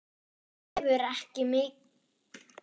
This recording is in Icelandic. Evu er mikið niðri fyrir.